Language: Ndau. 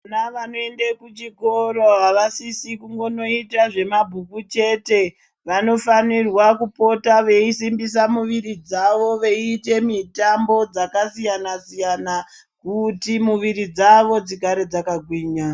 Vana vanoende kuchikora avasisis kunongoita zvemabhuku chete vanofanirwa kupota veisimbisa miviri dzavo veiite mitambo dzakasiyana siyana kuti muviri dzavo dzigare dzakagwinya.